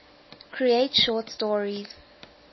create short stories